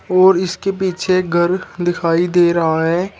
और इसके पीछे एक घर दिखाई दे रहा है।